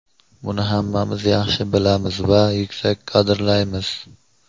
Buni hammamiz yaxshi bilamiz va yuksak qadrlaymiz.